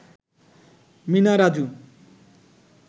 Mina Raju